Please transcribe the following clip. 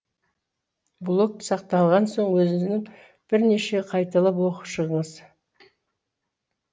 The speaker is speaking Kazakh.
блог сақталған соң өзіңіз бірнеше қайталап оқып шығыңыз